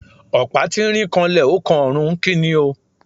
Opa tirín kànlẹ, o kan òrún, ki ní o?